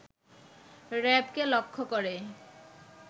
র‍্যাবকে লক্ষ্য করে